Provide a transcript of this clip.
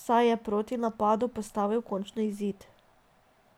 saj je protinapadu postavil končni izid.